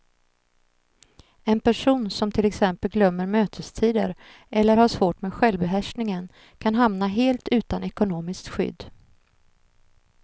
En person som till exempel glömmer mötestider eller har svårt med självbehärskningen kan hamna helt utan ekonomiskt skydd.